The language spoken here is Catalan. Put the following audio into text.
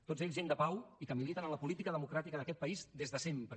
tots ells gent de pau i que militen a la política democràtica d’aquest país des de sempre